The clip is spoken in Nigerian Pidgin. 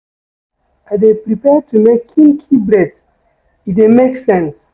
I dey prefer to make kinky braids, e dey make sense.